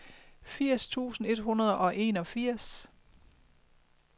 firs tusind et hundrede og enogfirs